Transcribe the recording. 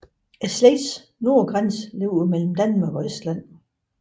Slægtens nordgrænse ligger mellem Danmark og Estland